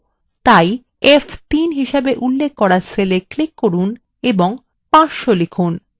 তাই f3 হিসেবে উল্লেখ করা cell click করুন এবং 500 লিখুন